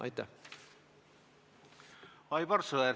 Aivar Sõerd, palun!